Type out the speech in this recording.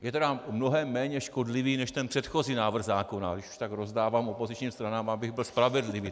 Je tedy mnohem méně škodlivý než ten předchozí návrh zákona, když už tak rozdávám opozičním stranám, abych byl spravedlivý.